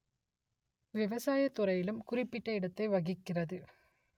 விவசாய துறையிலும் குறிப்பிட்ட இடத்தை வகிக்கிறது